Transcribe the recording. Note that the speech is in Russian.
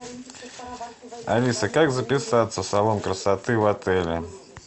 алиса как записаться в салон красоты в отеле